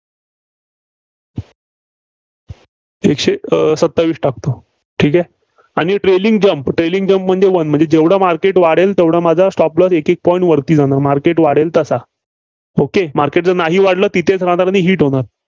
एकशे अं सत्तावीस टाकतो. ठीक आहे. आणि trailing jump trailing jump म्हणजे म्हणजे जेवढं मार्केट वाढेल तेवढा माझा stop loss एकएक point वरती जाणार, market वाढेल तसा. okay market नाहीच वाढलं, तिथंच राहणार, मी hit होणार.